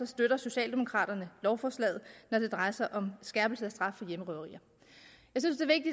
støtter socialdemokraterne lovforslaget når det drejer sig om skærpelse af straffen for hjemmerøverier